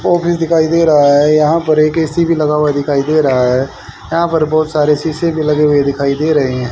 Office दिखाई दे रहा है यहां पर एक ए_सी भी लगा हुआ दिखाई दे रहा है यहां पर बहुत सारे शीशे भी लगे हुए दिखाई दे रहे हैं।